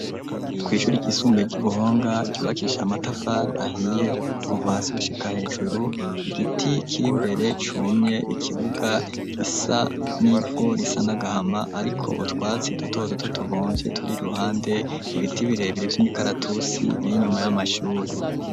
Kw'ishuri ryisumbe ry'ubuhonga ryubakisha amatafari ahiye kuva hasi gushika hejuru igiti k'imbere cumye ikibuga gisa n'ivu risa n'agahama, ariko utwatsi doto dutatu bomvye turi ruhande ibiti birebire vy'imikaratusi bire inyuma y'amashuri.